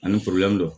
Ani